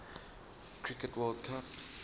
cricket world cup